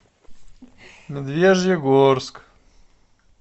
медвежьегорск